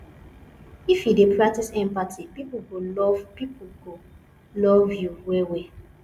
if you dey practice empathy pipo go love pipo go love you wellwell